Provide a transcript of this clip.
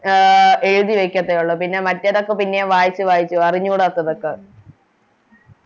അഹ് എഴുതി വെക്കാതെ ഓള്ളൂ പിന്നെ മറ്റേതൊക്കെയും പിന്നെ വായിച്ച് വായിച്ച് പോകും അറിഞ്ഞൂടാത്തതൊക്കെ